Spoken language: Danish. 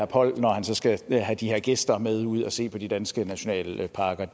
poll når han så skal have de her gæster med ud og se på de danske nationalparker